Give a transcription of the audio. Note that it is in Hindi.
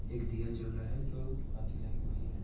एक दिया जल रहा है जो बाती लगी हुई है।